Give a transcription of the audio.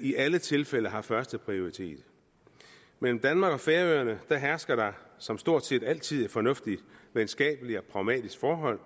i alle tilfælde har førsteprioritet mellem danmark og færøerne hersker der som stort set altid et fornuftigt venskabeligt og pragmatisk forhold